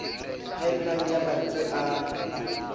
haellang ya ma ntswe a